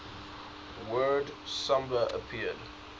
word samba appeared